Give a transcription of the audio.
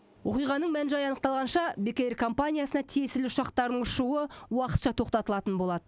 оқиғаның мән жайы анықталғанша бек эйр компаниясына тиесілі ұшақтардың ұшуы уақытша тоқтатылатын болады